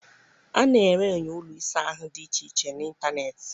A na-ere enyo ụlọ ịsa ahụ dị iche iche n'ịntanetị.